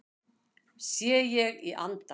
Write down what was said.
Sé ég í anda